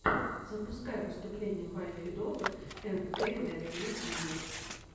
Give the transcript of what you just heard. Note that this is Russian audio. запускай выступление вай федотов энд эй нэт в ютьюбе